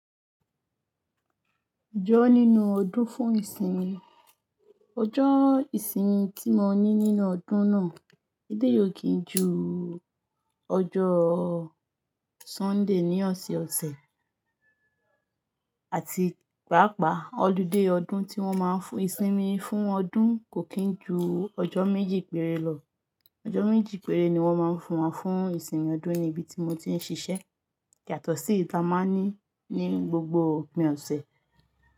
Ọjọ́ nínú ọdún fún ìsinmi, ọjọ́ ìsinmi tí mo ní nínú ọdún náà, eleyi ò kí ń ju ọjọ́ Sunday ní ọ̀sẹ̀ ọ̀sẹ̀ àti pàápàá ọludé ọdún tí wọ́n máa ń fún ìsinmi fún ọdún kò kín ju ọjọ́ méjì péré lọ. Ọjọ́ méjì péré ni wọ́n máa ń fún wa fún ìsinmi ọdún ní ibi tí mo ti ń ṣiṣẹ́. Yatọ̀síyì ta máa ní ní gbogbo òpin ọ̀sẹ̀.